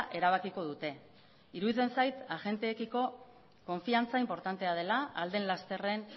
erabakiko dute iruditzen zait agenteekiko konfidantza inportantea dela ahal den lasterren